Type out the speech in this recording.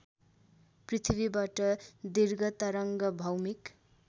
पृथ्वीबाट दीर्घतरङ्ग भौमिक